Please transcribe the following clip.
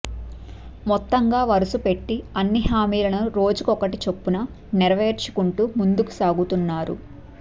మొత్తంగా వరుసపెట్టి అన్ని హామీలను రోజుకొకటి చొప్పున నెరవేర్చుకుంటూ ముందుకు సాగుతున్నారు